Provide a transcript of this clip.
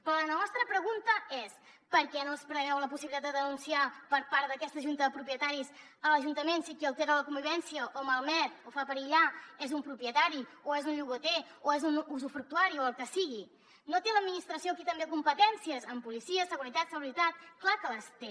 però la nostra pregunta és per què no es preveu la possibilitat de denunciar per part d’aquesta junta de propietaris a l’ajuntament si qui altera la convivència o la malmet o la fa perillar és un propietari o és un llogater o és un usufructuari o el que sigui no té l’administració aquí també competències en policia seguretat salubritat clar que les té